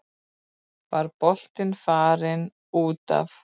Var boltinn farinn út af?